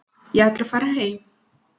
Ég ætla að fara heim.